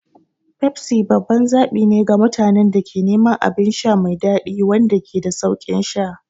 Pepsi babban zaɓi ne ga mutanen da ke neman abin sha mai daɗi wanda ke da sauƙin sha.